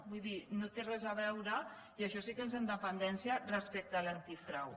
vull dir no té res a veure i això sí que és independència respecte a l’antifrau